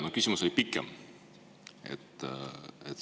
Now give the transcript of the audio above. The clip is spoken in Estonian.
Mu küsimus oli pikem.